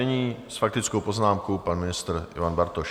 Nyní s faktickou poznámkou pan ministr Ivan Bartoš.